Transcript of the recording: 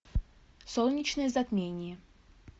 солнечное затмение